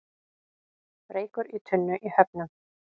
Reykur í tunnu í Höfnum